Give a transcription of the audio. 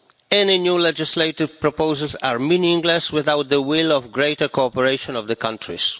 Any new legislative proposals are meaningless without the will for greater cooperation by the countries.